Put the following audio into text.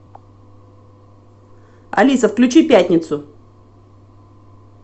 алиса включи пятницу